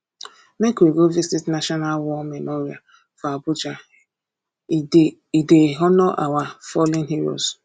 make we go visit national war memorial for abuja e dey e dey honour our fallen heroes